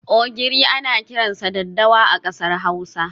Ogiri ana kiransa 'dadawa' a kasar Hausa.